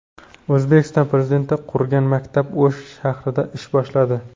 O‘zbekiston Prezidenti qurgan maktab O‘sh shahrida ish boshladi .